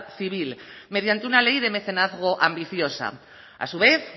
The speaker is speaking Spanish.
civil mediante una ley de mecenazgo ambiciosa a su vez